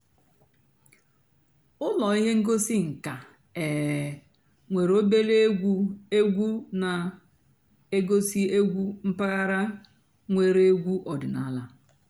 ụ́lọ́ íhé ǹgósì ǹká um nwèré òbèlé ègwú ègwú nà-ègosì ègwú m̀pàghàrà nwèré ègwú ọ̀dị́náàlà.